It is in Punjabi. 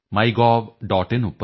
ਆਈਐਨ